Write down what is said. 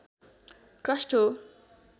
crust हो